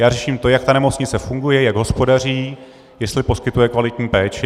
Já řeším to, jak ta nemocnice funguje, jak hospodaří, jestli poskytuje kvalitní péči.